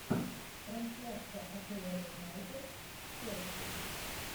трансляция апл юнайтед челси